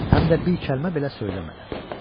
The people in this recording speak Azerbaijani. Həm də bir kəlmə belə söyləmədən.